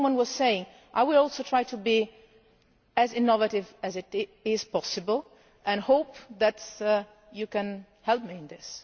As someone was saying, I will also try to be as innovative as possible and hope that you can help me in this.